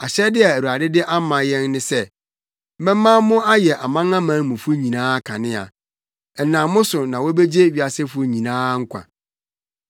Ahyɛde a Awurade de ama yɛn ne sɛ, “‘Mɛma mo ayɛ amanamanmufo nyinaa kanea; ɛnam mo so na wobegye wiasefo nyinaa nkwa.’ ”